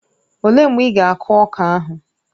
Ọ léé mgbe ị ga akụ ọka ahụ?